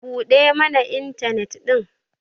buɗe mana intanet din!